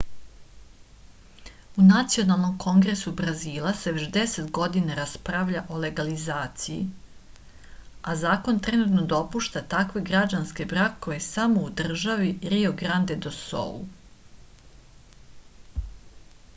u nacionalnom kongresu brazila se već 10 godina raspravlja o legalizaciji a zakon trenutno dopušta takve građanske brakove samo u državi rio grande do sul